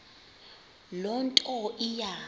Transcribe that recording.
loo nto iya